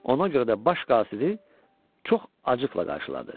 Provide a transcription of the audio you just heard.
Ona görə də baş qasidi çox acıqla qarşıladı.